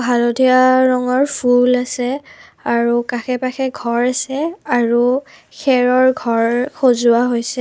হালধীয়া ৰঙৰ ফুল আছে আৰু কাষে পাশে ঘৰ আছে আৰু খেৰৰ ঘৰ সজোৱা হৈছে।